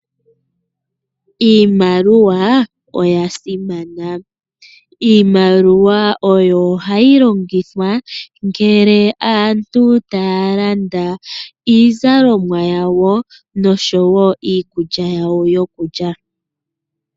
Iimaliwa oya simana. Iimaliwa ohayi longithwa ngele aantu taya landa iizalomwa yawo nosho woo iikulya yawo yokulya.